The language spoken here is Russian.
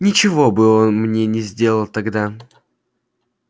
ничего бы он мне не сделал тогда